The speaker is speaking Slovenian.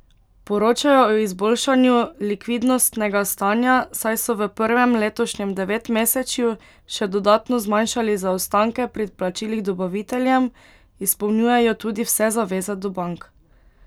Poročajo o izboljšanju likvidnostnega stanja, saj so v prvem letošnjem devetmesečju še dodatno zmanjšali zaostanke pri plačilih dobaviteljem, izpolnjujejo tudi vse zaveze do bank.